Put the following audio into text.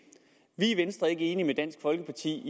vi i venstre er ikke enige med dansk folkeparti